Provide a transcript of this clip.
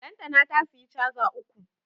Lantana ta siya caza uku